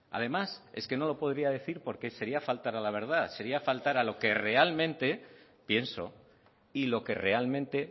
además es que no lo podría decir porque sería faltar a la verdad sería faltar a lo que realmente pienso y lo que realmente